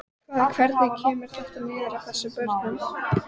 Hvað, hvernig kemur þetta niður á þessum börnum?